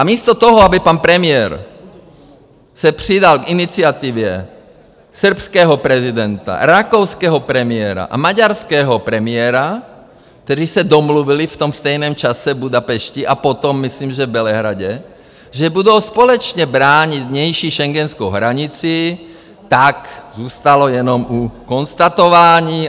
A místo toho, aby pan premiér se přidal k iniciativě srbského prezidenta, rakouského premiéra a maďarského premiéra, kteří se domluvili v tom stejném čase v Budapešti, a potom, myslím, že v Bělehradě, že budou společně bránit vnější schengenskou hranici, tak zůstalo jenom u konstatování.